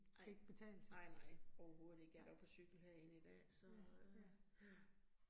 Nej, nej nej overhovedet ikke, jeg var på cykel herinde i dag så øh ja